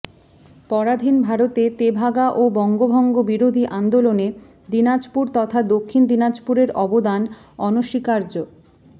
পরাধীন ভারতে তেভাগা ও বঙ্গভঙ্গ বিরোধী আন্দোলনে দিনাজপুর তথা দক্ষিণ দিনাজপুরের অবদান অনস্বীকার্য